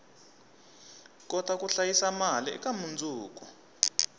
kota ku hlayisa mali eka mundzuku